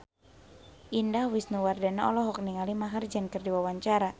Indah Wisnuwardana olohok ningali Maher Zein keur diwawancara